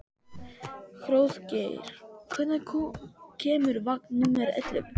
Hróðgeir, hvenær kemur vagn númer ellefu?